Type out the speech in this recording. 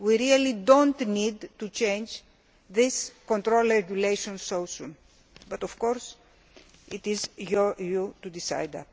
We really do not need to change this control regulation so soon but, of course, it is for you to decide.